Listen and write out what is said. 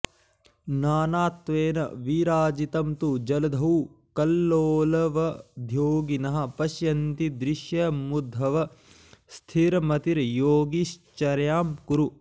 नानात्वेन विराजितं तु जलधौ कल्लोलवद्योगिनः पश्यन्तीदृशमुद्धव स्थिरमतिर्योगीशचर्यां कुरु